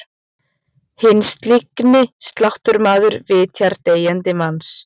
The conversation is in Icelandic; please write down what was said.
Hinn slyngi sláttumaður vitjar deyjandi manns.